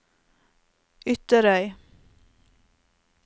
Ytterøy